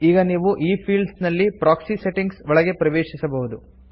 ಈಗ ನೀವು ಈ ಫೀಲ್ಡ್ಸ್ ನಲ್ಲಿ ಪ್ರಾಕ್ಸಿ ಸೆಟ್ಟಿಂಗ್ಸ್ ಒಳಗೆ ಪ್ರವೇಶಿಸಬಹುದು